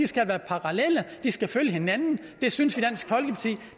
skal være parallelle de skal følge hinanden det synes